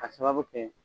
Ka sababu kɛ